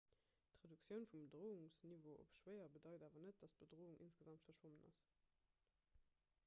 d'reduktioun vum bedroungsniveau op 'schwéier' bedeit awer net datt d'bedroung insgesamt verschwonn ass.